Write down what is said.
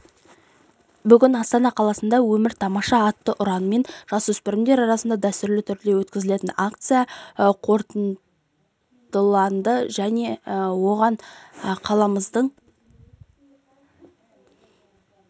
бүгін астана қаласында өмір тамаша атты ұранмен жасөспірімдер арасында дәстүрлі түрде өткізілетін акция қорытындыланды оған қаламыздың